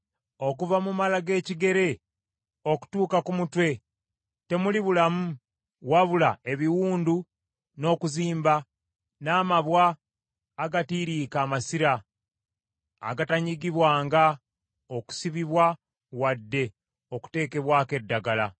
Okuva mu mala g’ekigere okutuuka ku mutwe temuli bulamu wabula ebiwundu, n’okuzimba, n’amabwa agatiiriika amasira agatanyigibwanga, okusibibwa, wadde okuteekebwako eddagala.